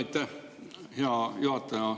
Aitäh, hea juhataja!